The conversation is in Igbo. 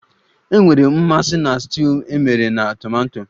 Enwere m mmasị na stuuyu emere na tomato